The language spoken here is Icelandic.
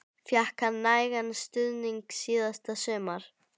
Fékk hann nægan stuðning síðasta sumar?